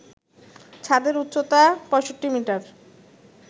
ছাদের উচ্চতা ৬৫ মিটার